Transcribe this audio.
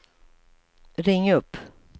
ring upp